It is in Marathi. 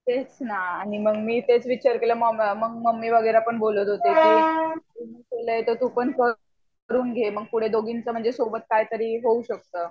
तेचना आणि मी तेच विचार केला आणि मंग मम्मी वगेरे पण बोलत होते की तुला मिळतं तर तू पण करून घे मंग पुढे दोघींच सोबत काही तरी होऊ शकतं.